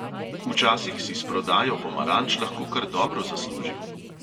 Včasih si s prodajo pomaranč lahko kar dobro zaslužil.